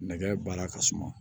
Nɛgɛ baara ka suma